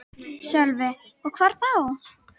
Sölvi: Og hvar þá?